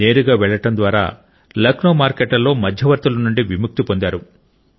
నేరుగా వెళ్ళడం ద్వారా లక్నో మార్కెట్లలో మధ్యవర్తుల నుండి విముక్తి పొందారు